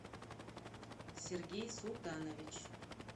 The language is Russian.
сергей султанович